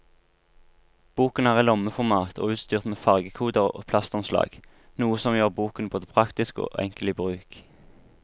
Boken er i lommeformat og utstyrt med fargekoder og plastomslag, noe som gjør boken både praktisk og enkel i bruk.